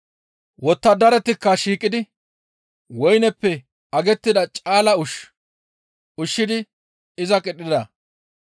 Wottadaratikka shiiqidi woyneppe agettida caala ushshu ushshidi iza qidhida.